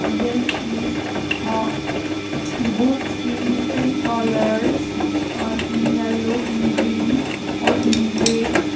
there is uh books in different colours uh in yellow in green or in red.